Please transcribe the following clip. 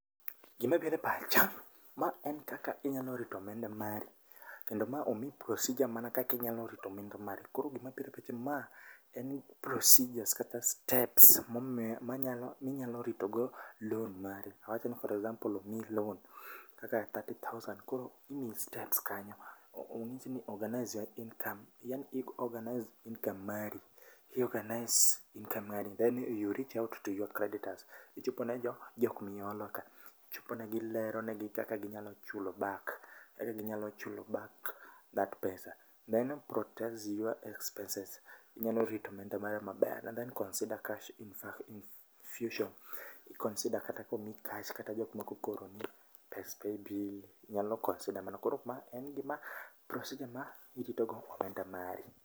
Gima biro e pacha, ma en kaka inyalo rito omenda mari, kendo ma omi procedure mana kaka inyalo rito omenda mari. Koro gima biro e pacha ma en procedures kata steps manyalo, minyalo rito go loan mari. Awach ni for example omii loan kaka thirty thousand, koro imii steps kanyo. Onyis ni organise your income, yaani i organise income mari. I organise income mari, then you reach out to your creditors. Ichopo ne jo jok miolo ka. Ichopo ne gi, ilero negi kaka ginyalo chulo back, kaka ginyalo chulo back that pesa. Then protects your expenses. Inyalo rito omenda mari maber. Then consider a cash infusion. I consider kata ka omii cash kata jo moko ka oro ni pes paybill, inyalo consider mano. Koro ma en gima en procedure ma irito go omenda mari.